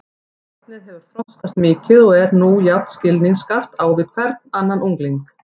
Barnið hefur þroskast mikið og er nú jafn skilningsskarpt á við hvern annan ungling.